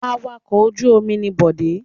Awakọ̀ ojú-omi ni Bọ̀dé.